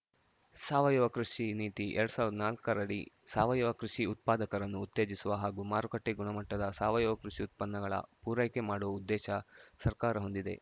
ಸಾವಯವ ಕೃಷಿ ನೀತಿ ಎರಡ್ ಸಾವಿರದ ನಾಲ್ಕರಡಿ ಸಾವಯವ ಕೃಷಿ ಉತ್ಪಾದಕರನ್ನು ಉತ್ತೇಜಿಸುವ ಹಾಗೂ ಮಾರುಕಟ್ಟೆ ಗುಣಮಟ್ಟದ ಸಾವಯವ ಕೃಷಿ ಉತ್ಪನ್ನಗಳ ಪೂರೈಕೆ ಮಾಡುವ ಉದ್ದೇಶ ಸರ್ಕಾರ ಹೊಂದಿದೆ